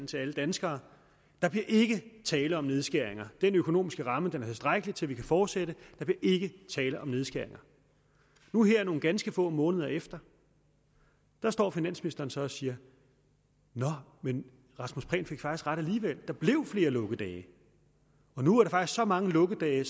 til alle danskere der bliver ikke tale om nedskæringer den økonomiske ramme er tilstrækkelig til at vi kan fortsætte der bliver ikke tale om nedskæringer nu her nogle ganske få måneder efter står finansministeren så og siger nå men rasmus prehn fik faktisk ret alligevel der blev flere lukkedage og nu er der faktisk så mange lukkedage